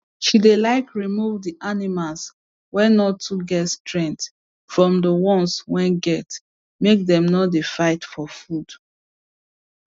she dey like remove the animals wey no too get strength from d ones wey get make dem no dey fight for food